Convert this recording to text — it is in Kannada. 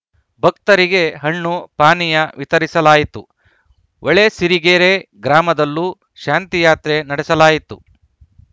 ಭಕ್ತರಿಗೆ ಹಣ್ಣು ಪಾನೀಯ ವಿತರಿಸಲಾಯಿತು ಹೊಳೆಸಿರಿಗೆರೆ ಗ್ರಾಮದಲ್ಲೂ ಶಾಂತಿಯಾತ್ರೆ ನಡೆಸಲಾಯಿತು